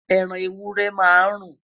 ẹran ewúrẹ́ má n run